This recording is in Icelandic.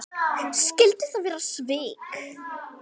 Skyldu það vera svik?